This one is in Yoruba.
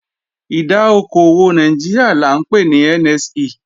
Ìdá okò òwò Nàìjíríà là ńpè ní NSE